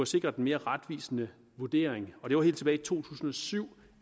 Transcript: sikret en mere retvisende vurdering det var helt tilbage i to tusind og syv